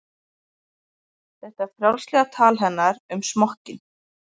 Þetta frjálslega tal hennar um smokkinn?